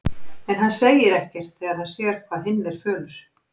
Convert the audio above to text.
En hann segir ekkert þegar hann sér hvað hinn er fölur.